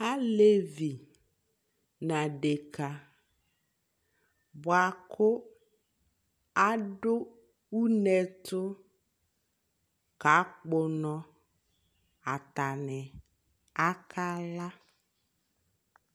alɛvi nʋ adɛka bʋakʋ adʋ ʋnɛ ɛtʋ ka kpɔ ʋnɔ atani akala